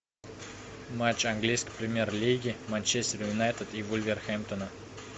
матч английской премьер лиги манчестер юнайтед и вулверхэмптона